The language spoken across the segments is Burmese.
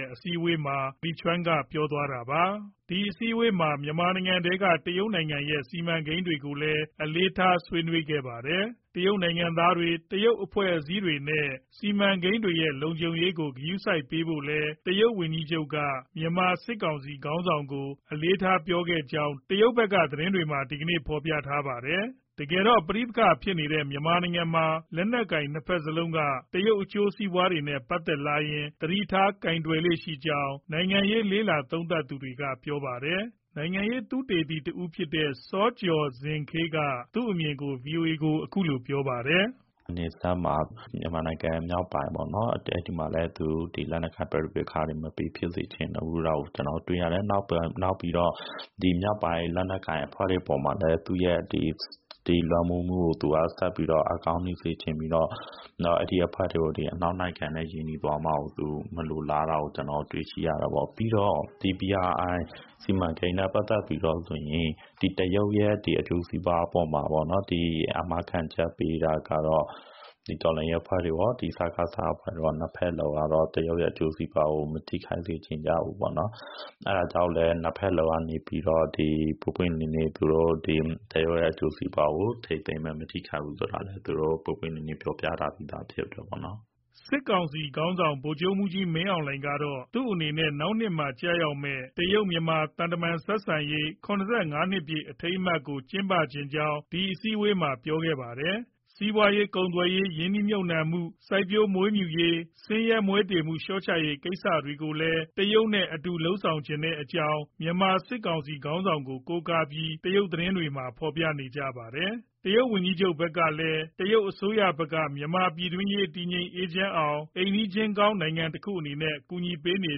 က် အစည်းအဝေးအတွင်း မစ္စတာလီချောင်န်က ပြောခဲ့တာပါ။ ဒီအစည်းအဝေးမှာ မြန်မာနိုင်ငံထဲက တရုတ်ရဲ့ စီမံကိန်းတွေကိုလည်း အလေးထား ဆွေးနွေးခဲ့ပါတယ်။ တရုတ်နိုင်ငံသားတွေ၊ တရုတ်အဖွဲ့အစည်းတွေနဲ့ စီမံကိန်းတွေရဲ့ လုံခြုံရေးကို ဂရုစိုက်ပေးဖို့လည်း တရုတ်ဝန်ကြီးချုပ်က မြန်မာစစ်ကောင်စီခေါင်းဆောင်ကို အလေးထားပြောခဲ့ကြောင်း တရုတ်သတင်းတွေက ဒီနေ့ ပြောထားပါတယ်။ တကယ်တော့ ပဋိပက္ခဖြစ်နေတဲ့ မြန်မာနိုင်ငံမှာ လက်နက်ကိုင် နှစ်ဘက်စလုံးက တရုတ်အကျိုးစီးပွား တွေနဲ့ ပတ်သက်လာရင် သတိထား ကိုယ်တွယ်လေ့ရှိကြောင်း နိုင်ငံရေး လေ့လာသုံးသပ်သူတွေက ပြောပါတယ်။ နိုင်ငံရေးသုတေသီတဦးဖြစ်တဲ့ စောကျော်ဇင်ခေး က သူ့ရဲ့အမြင်ကို ဗွီအိုအေကို ပြောပြပါတယ်။ "နယ်စပ် မြန်မာနိုင်ငံ မြောက်ပိုင်းပေါ့။ အဲဒီမှာ သူ လက်နက်ကိုင်ပဋိပက္ခတွေ မဖြစ်စေချင်ဘူး၊ အဲဒါကို ကျနော်တို့တွေ့ရတယ်။ နောက် မြောက်ပိုင်း လက်နက်ကိုင်အဖွဲ့တွေ အပေါ်မှာလည်း သူရဲ့ လွှမ်းမိုးမှုကို ဆက်ပြီး အားကောင်းစေချင်ပြီးတော့ အဲဒီအဖွဲ့တွေ အနောက်နိုင်ငံနဲ့ ရင်းနှီးသွားမှာကို မလိုလားတာကို ကျနော်တို့ တွေ့ရှိရတယ်ပေါ့။ ပြီးတော့ BRI စီမံကိန်းနဲ့ ပတ်သက်ပြီးတော့ တရုတ်ရဲ့ အကျိုးစီးပွားအပေါ်မှာ အာမခံချက်ပေးတာကတော့ တော်လှန်ရေးအဖွဲ့တွေရော စကစရော နှစ်ဘက်စလုံးကတော့ တရုတ်ရဲ့ အကျိုးစီးပွားကို မထိခိုက်စေချင်ကြဘူးပေါ့နော်။ အဲဒါကြောင့်မို့ နှစ်ဘက်စလုံးက ပွင့်ပွင့်လင်းလင်း တရုတ်အကျိုးစီးပွားကို မထိခိုက်ဘူးဆိုတာ သူတို့ ပွင့်ပွင့်လင်းလင်း ပြောပြထားပြီးသား ဖြစ်တယ်။" စစ်ကောင်စီခေါင်းဆောင် ဗိုလ်ချုပ်မှူးကြီး မင်းအောင်လှိုင်ကတော့ သူ့အနေနဲ့ နောက်နှစ်မှာ ကျရောက်မယ့် တရုတ်-မြန်မာ သံတမန်ဆက်ဆံရေး ၇၅ နှစ်ပြည့်အထိမ်းအမှတ်ကို ကျင်းပချင်ကြောင်း ဒီအစည်းအဝေးမှာ ပြောခဲ့တာပါ။ စီးပွားရေး၊ ကုန်သွယ်ရေး၊ ရင်းနှီးမြှုပ်နှံမှု၊ စိုက်ပျိုးမွေးမြူရေး၊ ဆင်းရဲမွဲတေမှု လျှော့ချရေးကိစ္စတွေကိုလည်း တရုတ်နဲ့အတူ လက်တွဲဆောင်ရွက်လိုကြောင်း မြန်မာ စစ်ကောင်စီခေါင်းဆောင်ကို ကိုးကားပြီး တရုတ်သတင်းတွေက ရေးသားထားပါတယ်။ တရုတ်ဝန်ကြီးချုပ်ဘက်ကလည်း တရုတ်အစိုးရဘက်က မြန်မာ့ပြည်တွင်းရေး တည်ငြိမ် အေးချမ်းအောင် အိမ်နီးချင်းကောင်းနိုင်ငံတခုအနေနဲ့ ကူညီပေးနေ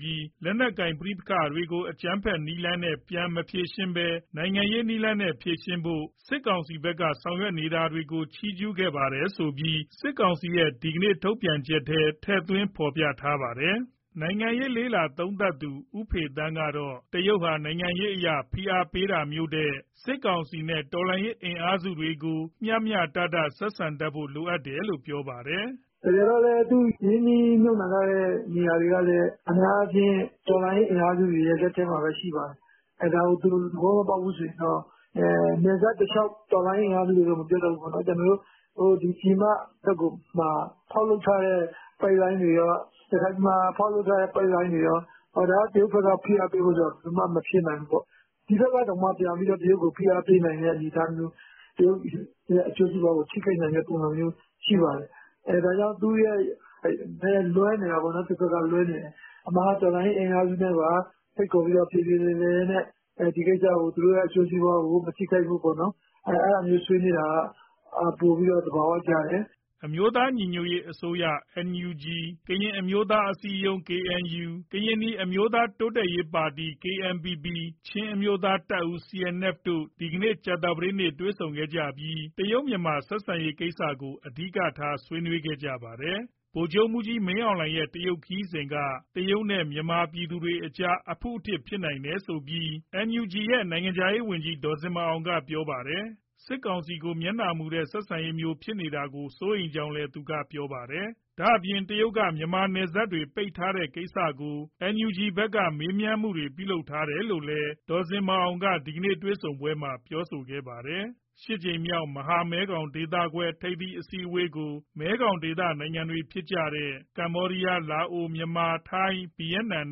ပြီး လက်နက်ကိုင်ပဋိပက္ခတွေကို အကြမ်းဖက်နည်းလမ်းနဲ့ ပြန်မဖြေရှင်းဘဲ နိုင်ငံရေးနည်းလမ်းနဲ့ဖြေရှင်းဖို့ စစ်အစိုးရဘက်က ဆောင်ရွက်နေတာတွေကို ချီးကျူးခဲ့ပါတယ်ဆိုပြီးလည်း စစ်ကောင်စီရဲ့ဒီကနေ့ ထုတ်ပြန်ချက်ထဲ ထည့်သွင်းဖော်ပြထားပါတယ်။ နိုင်ငံရေးသုံးသပ်သူ ဦးဖေသန်းကတော့ တရုတ်ဟာ နိုင်ငံရေးအရဖိအားပေးတာမျိုးထက် စစ်ကောင်စီနဲ့ တော်လှန်ရေးအင်အားစုတွေကို မျှမျှတတ ဆက်ဆံတတ်ဖို့ လိုတယ်လို့ ပြောပါတယ်။ "တကယ်တော့ သူ ရင်းနှီးမြှုပ်နှံထားတဲ့ နေရာတွေကလည်း အများအားဖြင့် တော်လှန်ရေးအင်အားစု တွေရဲ့ လက်ထဲမှာပဲရှိပါတယ်။ ဒါကိုသူ သဘောမပေါက်ဘူးဆိုရင်တော့ နယ်စပ်တလျှောက် တော်လှန်ရေး အင်အားစုတွေတော့ မပြောတတ်ဘူးပေါ့နော်။ ပြည်မဘက်မှာ ဖောက်လုပ်ထားတဲ့ ပိုက်လိုင်းတွေ၊ ရခိုင်ပြည်မှာဖောက်လုပ်ထားတဲ့ ပိုက်လိုင်းတွေ၊ ဒါက တရုတ်က ဖိအားပေးဖို့ဆိုတာ ဘယ်လိုမှ မဖြစ်နိုင်ဘူးပေါ့။ ဒီဘက်ကတောင်မှ တရုတ်ကိုပြန်ပြီး ဖိအားပေးနိုင်တဲ့၊ တရုတ်ရဲ့ အကျိုးစီးပွားကို ထိခိုက်နိုင်တဲ့ပုံစံမျိုး ရှိပါတယ်။ အဲဒါကြောင့် သူ့ဘက်က လွဲနေတာပေါ့။ အမှန်က တော်လှန်ရေးအင်အားစုနဲ့ပါဖိတ်ခေါ်ပြီး ပြေပြေလည်လည်နဲ့ သူတို့ရဲ့ အကျိုးစီးပွားကို မထိခိုက်ဖို့ပေါ့နော် အဲဒါမျိုး ဆွေးနွေးတာက ပိုပြီးသဘာဝကျတယ်။" အမျိုးသားညီညွတ်ရေးအစိုးရ NUG၊ ကရင်အမျိုးသား အစည်းအရုံး KNU၊ ကရင်နီအမျိုးသား တိုးတက်ရေးပါတီ KNPP၊ ချင်းအမျိုးသားတပ်ဦး CNF တို့ ဒီနေ့ ကြာသပတေးနေ့မှာ တွေ့ဆုံခဲ့ပြီး တရုတ်-မြန်မာဆက်ဆံရေး ကိစ္စကို အဓိက ဆွေးနွေးခဲ့ကြပါတယ်။ ဗိုလ်ချုပ်မှူးကြီး မင်းအောင်လှိုင်ရဲ့ တရုတ်ခရီးစဉ်က တရုတ်နဲ့မြန်မာ ပြည်သူတွေကြားမှာ အဖုအထစ်ဖြစ်နိုင်တယ်ဆိုပြီး NUG ရဲ့ နိုင်ငံခြားရေး ပြည်ထောင်စုဝန်ကြီး ဒေါ်ဇင်မာအောင်က ပြောပါတယ်။ စစ်ကောင်စီကို မျက်နှာမူတဲ့ ဆက်ဆံရေးမျိုး ဖြစ်နေတာကို စိုးရိမ်ကြောင်းလည်း ပြောပါတယ်။ ဒါ့အပြင် တရုတ်က မြန်မာနယ်စပ်တွေကို ပိတ်ထားတဲ့ကိစ္စကို NUG ဘက်ကမေးမြန်းထားတယ်လို့လည်း ဒေါ်ဇင်မာအောင်က ဒီတွေ့ဆုံပွဲမှာ ပြောပြခဲ့တာပါ။ ရှစ်ကြိမ်မြောက် မဟာမဲခေါင်ဒေသခွဲ ထိပ်သီးအစည်းအဝေးကို မဲခေါင်ဒေသနိုင်ငံတွေဖြစ်တဲ့ ကမ္ဘောဒီယား၊ လာအို၊ မြန်မာ၊ ထိုင်း၊ ဗီယက်နမ်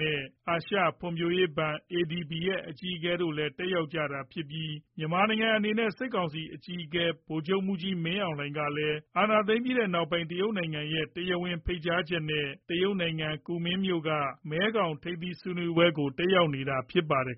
နဲ့ အာရှဖွံ့ဖြိုးရေးဘဏ် ADB ရဲ့ အကြီးအကဲတို့ တက်ရောက်နေကြပြီး မြန်မာနိုင်ငံအနေနဲ့ စစ်ကောင်စီအကြီးအကဲ ဗိုလ်ချုပ်မှူးကြီး မင်းအောင်လှိုင်ကလည်း အာဏာသိမ်းပြီးနောက်ပိုင်း တရုတ်နိုင်ငံရဲ့ တရားဝင်ဖိတ်ကြားချက်နဲ့ တရုတ်နိုင်ငံ ကူမင်းမြို့က မဲခေါင်ထိပ်သီးဆွေးနွေးပွဲတွေကို တက်ရောက်နေတာဖြစ်ပါတယ်